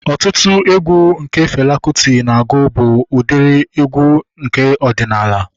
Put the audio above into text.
Ọtụtụ egwu nke Fela Kuti na-agụ bụ udiri egwu nke ọdịnala